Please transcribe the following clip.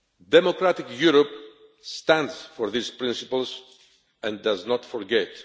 Democratic Europe stands for these principles and does not forget.